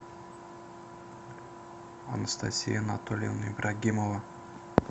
анастасия анатольевна ибрагимова